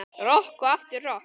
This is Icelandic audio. Rokk og aftur rokk.